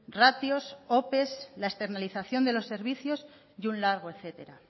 ratios ope la externalización de los servicios y un largo etcétera